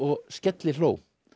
skellihló